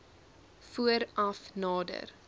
voor af nader